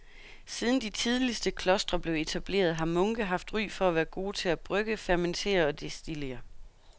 Siden de tidligste klostre blev etableret har munke haft ry for at være gode til at brygge, fermentere og destillere.